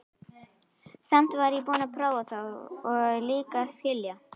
Samt var ég búin að prófa það og líka skilja.